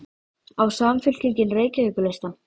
Á Samfylkingin Reykjavíkurlistann?